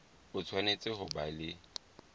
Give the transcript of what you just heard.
o tshwanetse ho ba le